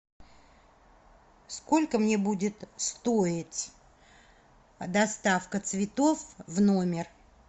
сколько мне будет стоить доставка цветов в номер